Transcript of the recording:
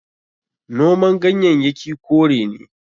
Noman ganyayyaki kore ne.